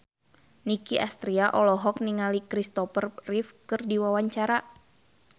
Nicky Astria olohok ningali Christopher Reeve keur diwawancara